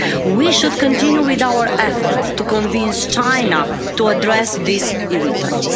We should continue with our efforts to convince China to address these irritants.